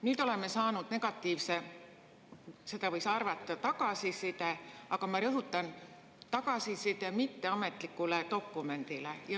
Nüüd oleme saanud negatiivse – seda võiski arvata – tagasiside, aga ma rõhutan: tagasiside mitteametlikule dokumendile.